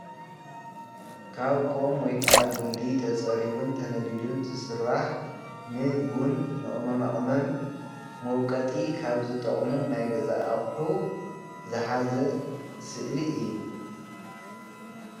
ካብ ቆም ወይ ከኣ ጉንዲ ተፀሪቡን ተነዲሉን ዝስርሕ ንቡን ንቅመማ ቅመም መዉቀጢ ካብ ዝጠቅሙ ናይ ገዛ ኣቁሑ ዝሓዘ ስእሊ እዩ፡፡